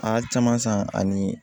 A caman san ani